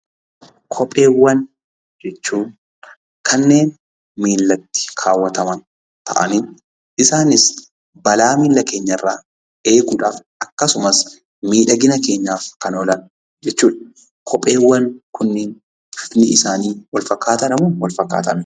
Kopheewwan jechuun kanneen miillatti kaawwataman ta'anii isaanis balaa miilla keenyarraa eeguudhaaf akkasumas miidhagina keenyaaf kan oolan jechuudha. Kopheewwan kunniin bifni isaanii walfakkaataadhamoo walfakkaataa miti?